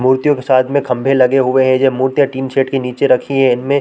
मूर्तियों के साथ में खंभे लगे हुए है ये मूर्तियाँ टीन सेड के नीचे रखी है इनमें--